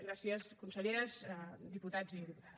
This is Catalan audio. gràcies conselleres diputats i diputades